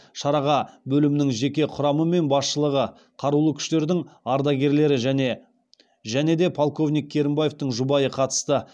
шараға бөлімнің жеке құрамы мен басшылығы қарулы күштердің ардагерлері және де полковник керімбаевтің жұбайы қатысты